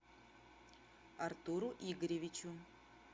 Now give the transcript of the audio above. артуру игоревичу